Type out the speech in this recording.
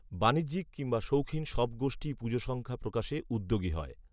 বাণিজ্যিক, কিংবা শৌখিন সব গোষ্ঠীই পুজো সংখ্যা প্রকাশে উদ্যোগী হয়